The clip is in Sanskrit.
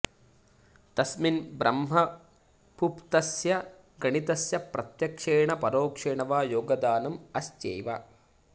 तस्मिन् ब्रह्मपुप्तस्य गणितस्य प्रत्यक्षेण परोक्षेण वा योगदानम् अस्त्यैव